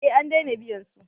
Eh an dena biyan su